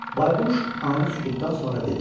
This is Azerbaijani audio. Bayquş anı sükutdan sonra dedi: